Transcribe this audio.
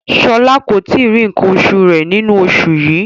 Shola ko tíì ri nkán osù rẹ nínú oṣù yìí.